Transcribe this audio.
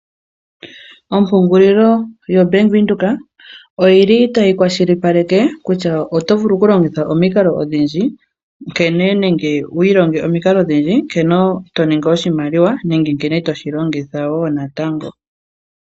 Ompungulilo yaVenduka oyi li tayi kwashilipaleke kutya oto vulu okulongitha omikalo odhindji nenge wi ilonge omikalo odhindji nkene toningi oshimaliwa nenge nkene toshi longitha woo natango